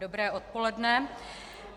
Dobré odpoledne.